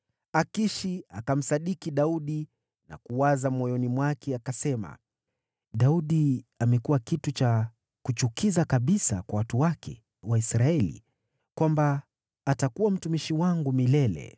Akishi akamsadiki Daudi na kuwaza moyoni mwake, akasema, “Daudi amekuwa kitu cha kuchukiza kabisa kwa watu wake, Waisraeli, hivi kwamba atakuwa mtumishi wangu milele.”